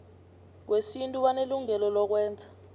wesintu banelungelo lokwenza